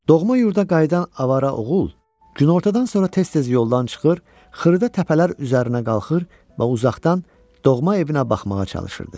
Doğma yurda qayıdan avara oğul günortadan sonra tez-tez yoldan çıxır, xırda təpələr üzərinə qalxır və uzaqdan doğma evinə baxmağa çalışırdı.